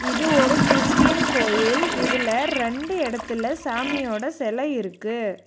இது ஒரு கிறிஸ்டியன் கோயில் இதுல ரெண்டு இடத்துல சாமியோட சிலை இருக்கு.